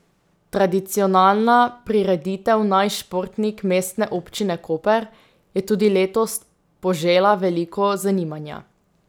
Tradicionalna prireditev Naj športnik Mestne občine Koper je tudi letos požela veliko zanimanja.